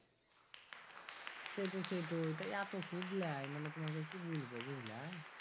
সেটোই সেটোইতা এত সুদ লেয় মানে তোমাকে কি বলবো বুজলা